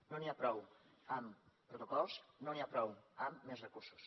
no n’hi ha prou amb protocols no n’hi ha prou amb més recursos